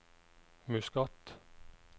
Muscat